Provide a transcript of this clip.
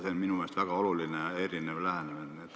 See on minu meelest oluliselt erinev lähenemine.